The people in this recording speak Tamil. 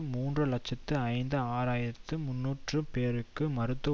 மூன்று இலட்சத்தி ஐந்து ஆயிரத்தி முன்னூறு பேருக்கு மருத்துவ